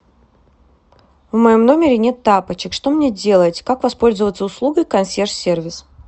в моем номере нет тапочек что мне делать как воспользоваться услугой консьерж сервис